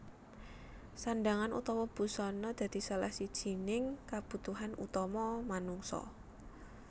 Sandhangan utawa busana dadi salah sijining kabutuhan utama manungsa